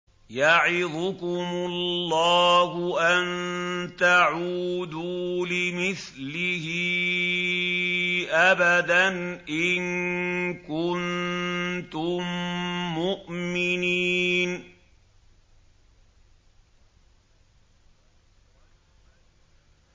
يَعِظُكُمُ اللَّهُ أَن تَعُودُوا لِمِثْلِهِ أَبَدًا إِن كُنتُم مُّؤْمِنِينَ